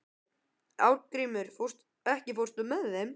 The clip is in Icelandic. Arngrímur, ekki fórstu með þeim?